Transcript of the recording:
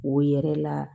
O yɛrɛ la